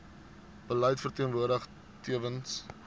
beleid verteenwoordig tewens